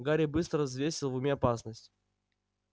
гарри быстро взвесил в уме опасность